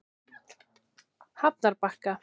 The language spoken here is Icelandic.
Hafnarbakka